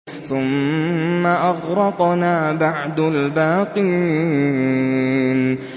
ثُمَّ أَغْرَقْنَا بَعْدُ الْبَاقِينَ